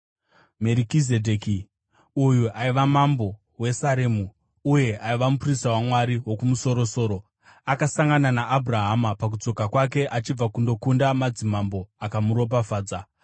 Merikizedheki uyu aiva mambo weSaremu, uye aiva muprista waMwari Wokumusoro-soro. Akasangana naAbhurahama pakudzoka kwake achibva kundokunda madzimambo, akamuropafadza,